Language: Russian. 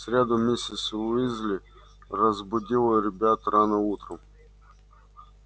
в среду миссис уизли разбудила ребят рано утром